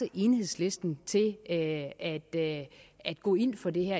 enhedslisten til at at gå ind for det her